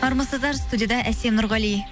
армысыздар студияда әсем нұрғали